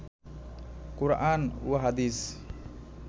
কোরআন ও হাদিস